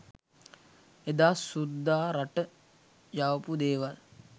එදා සුද්දා රට යවපු දේවල්